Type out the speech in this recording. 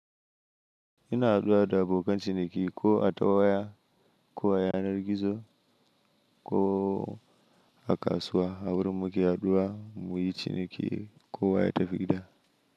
Ina haɗuwa da abokan ciniki ko a ta waya, ko a yanar gizo, ko a kasuwa, a wurin muke addu'a muyi ciniki, ko wa ya tafi gida.